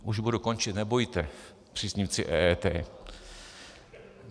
- Už budu končit, nebojte, příznivci EET.